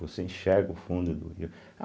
Você enxerga o fundo do rio.